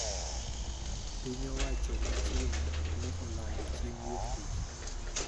Piny owacho ma China ne olando chieng` Wuok Tich